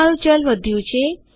તમારું ચલ વધ્યું છે